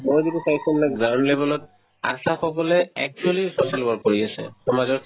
মই যিটো চাইছো ground level ত আশা সকলে actually social work কৰি আছে সমাজত